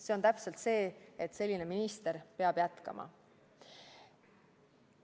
See on täpselt see, et selline minister peab jätkama.